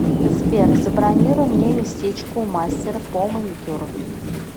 сбер забронируй мне местечко у мастера по маникюру